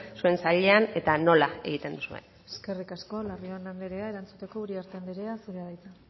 zuen sailean eta nola egiten duzuen eskerrik asko larrion anderea erantzuteko uriarte anderea zurea da hitza